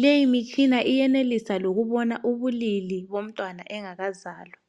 Leyi mitshina iyenelisa lokubona ubulili bomntwana engakazalwa.